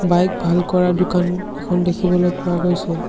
Bike ভাল কৰা দোকান এখন দেখিবলৈ পোৱা গৈছে।